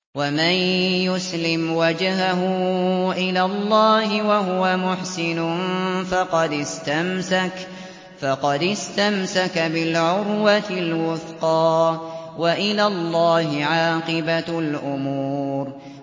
۞ وَمَن يُسْلِمْ وَجْهَهُ إِلَى اللَّهِ وَهُوَ مُحْسِنٌ فَقَدِ اسْتَمْسَكَ بِالْعُرْوَةِ الْوُثْقَىٰ ۗ وَإِلَى اللَّهِ عَاقِبَةُ الْأُمُورِ